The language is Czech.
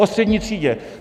Oo střední třídě.